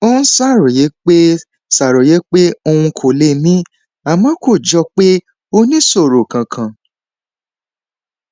ó ń ṣàròyé pé ṣàròyé pé òun kò lè mí àmọ kò jọ pé ó níṣòro kankan